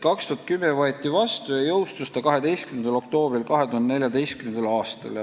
2010. aastal võeti see vastu ja jõustus see 12. oktoobril 2014. aastal.